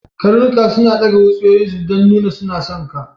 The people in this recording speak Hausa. Karnuka suna daga wutsiyoyin su don nuna suna son ka.